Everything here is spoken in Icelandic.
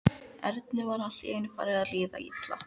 Erni var allt í einu farið að líða illa.